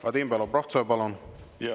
Vadim Belobrovtsev, palun!